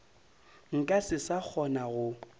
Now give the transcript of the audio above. nka se sa kgona go